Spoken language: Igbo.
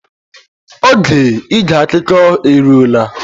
Oge ige akụkọ eruo na.